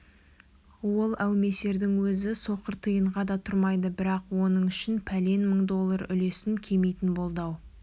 ол әумесердің өзі соқыр тиынға да тұрмайды бірақ оның үшін пәлен мың доллар үлесім кемитін болды-ау